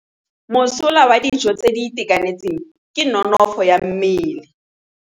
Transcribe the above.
Mosola wa dijô tse di itekanetseng ke nonôfô ya mmele.